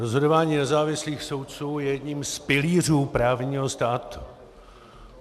Rozhodování nezávislých soudců je jedním z pilířů právního státu.